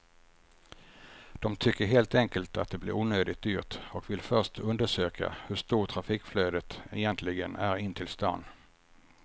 De tycker helt enkelt att det blir onödigt dyrt och vill först undersöka hur stort trafikflödet egentligen är in till stan.